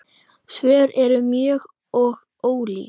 Svörin eru mörg og ólík.